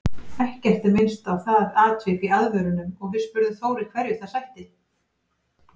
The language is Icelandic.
Ekkert er minnst á það atvik í aðvörunum og við spurðum Þóri hverju það sætti?